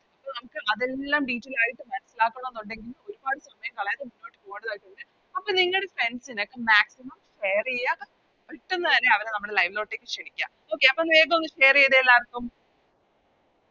അപ്പൊ നമുക്ക് അതെല്ലാം Detail ആയിട്ട് മനസിലാക്കണന്നൊണ്ടെങ്കിൽ ഒരുപാട് സമയം കളയാതെ മുന്നോട്ട് പോകേണ്ടതായിട്ടുണ്ട് അപ്പൊ നിങ്ങടെ Friends നോക്കെ Maximum share ചെയ്യാ പെട്ടന്ന് തന്നെ അവരെ നമ്മുടെ Live ലോട്ട് ക്ഷേണിക്ക Okay അപ്പൊ വേഗോന്ന് Share ചെയ്തേ എല്ലാർക്കും